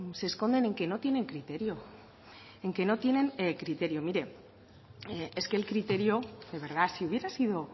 se esconden en que no tienen criterio en que no tienen criterio mire es que el criterio de verdad si hubiera sido